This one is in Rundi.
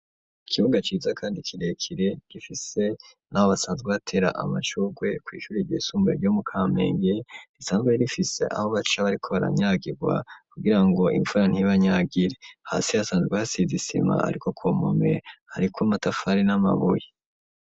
Ikibuga ciza kandi kirekire, gifise n'aho basanzwe batera amashurwe kw'ishure ryisumbuye ryo mu Kamenge, risanzwe rifise aho baca bariko baranyagirwa, kugira ngo imvura ntibanyagire; hasi hasanzwe hasize isima, ariko ku mpome hariko amatafari n'amabuye.